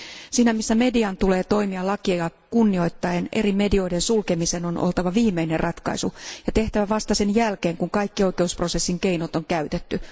Siinä missä median tulee toimia lakia kunnioittaen, eri medioiden sulkemisen on oltava viimeinen ratkaisu, ja se on tehtävä vasta sen jälkeen, kun kaikki oikeusprosessin keinot on käytetty.